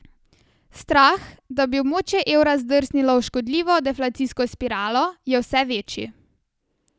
Strah, da bi območje evra zdrsnilo v škodljivo deflacijsko spiralo, je vse večji.